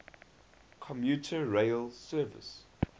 commuter rail service